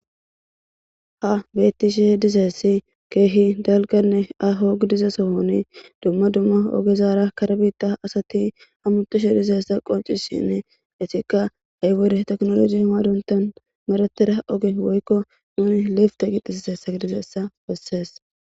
ha beetishe dizessi keehi dalganne ahogidiza sohoni dumma dumma ogezaara karbita asati hamutushe dizessa qoncishinne etikka haywode teknoloji maduntan meratera oge woykko nuni liefta qixisse sagidizeessa bessees